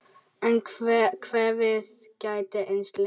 En kvefið gæti enst lengur.